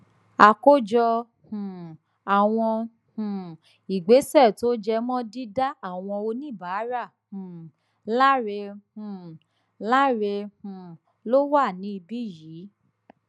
àkójọ um àwọn um ìgbésẹ tó jẹ mọ dídá àwọn oníbàárà um láre um láre ló wà níbí yìí